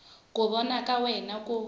ku vona ka wena ku